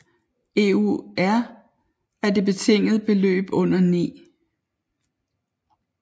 EUR af det betingede beløb under 9